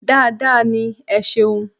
Dáadáa ní. Ẹ ṣeun..